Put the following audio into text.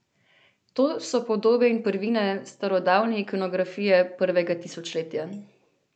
To so podobe in prvine starodavne ikonografije prvega tisočletja.